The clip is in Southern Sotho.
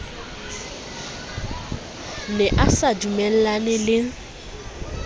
ne a sa dumellane le